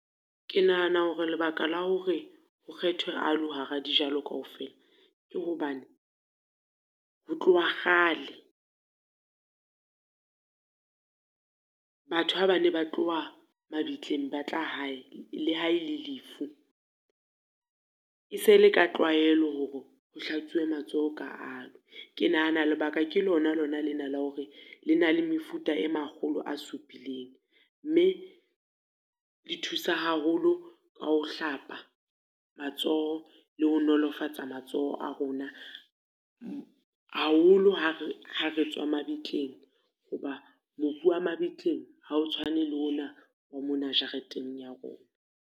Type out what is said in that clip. Ke nahana hore lebaka la hore, ho kgethwe aloe hara dijalo kaofela. Ke hobane, ho tloha kgale batho ha ba ne ba tloha mabitleng ba tla hae, le ha e ne le lefu, e se le ka tlwaelo hore ho hlatswuwe matsoho ka aloe. Ke nahana lebaka ke lona lona lena la hore, le na le mefuta e makgolo a supileng, mme le thusa haholo ka ho hlapa matsoho le ho nolofatsa matsoho a rona. Haholo ha re ha re tswa mabitleng, ho ba mobu wa mabitleng, ha o tshwane le ona wa mona jareteng ya rona.